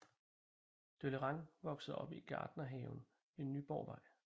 Deleuran voksede op i Gartnerhaven ved Nyborgvej